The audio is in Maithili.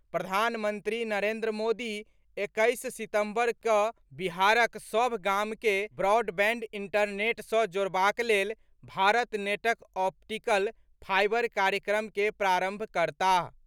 प्रधानमंत्री नरेंद्र मोदी एक्कैस सितंबर कऽ बिहारक सभ गाम के ब्रॉडबैंड इंटरनेट सँ जोड़बाक लेल भारत नेटक ऑप्टिकल फाईबर कार्यक्रम के प्रारंभ करताह।